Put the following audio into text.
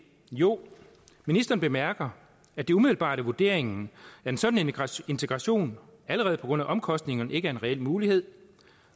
jo ministeren bemærker at det umiddelbart er vurderingen at en sådan integration allerede på grund af omkostningerne ikke er en reel mulighed